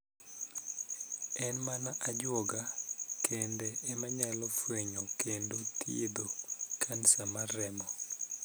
En mana ajuoga (jathieth) kende emanyalo fwenyo kendo thiedho kansa mar remo.